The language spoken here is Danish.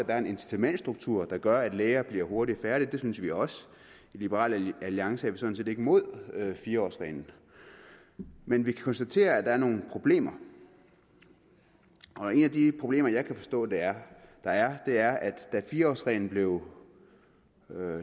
er en incitamentsstruktur der gør at læger bliver hurtigt færdige det synes vi også i liberal alliance er vi sådan set ikke mod fire årsreglen men vi kan konstatere at der er nogle problemer et af de problemer jeg kan forstå der der er er at da fire årsreglen blev